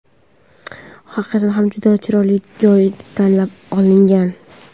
Haqiqatdan ham juda chiroyli joy tanlab olingan.